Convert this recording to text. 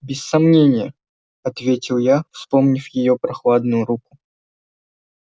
без сомнения ответил я вспомнив её прохладную руку